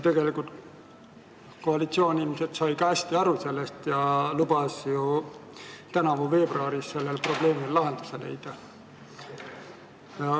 Tegelikult sai ilmselt ka koalitsioon sellest hästi aru ja lubas tänavu veebruaris sellele probleemile lahenduse leida.